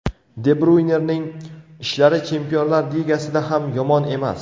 De Bryuynening ishlari Chempionlar Ligasida ham yomon emas.